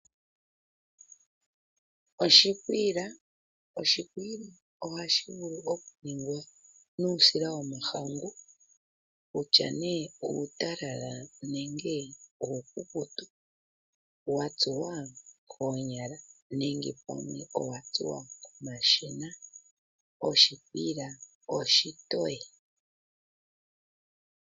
Oshikwiila, oshikwiila ohashi vulu ningwa nuusila yomahangu kutya ne uutalala nenge uukukutu, Watsuwa koonyala nenge komashina oshikwiila oshitowe.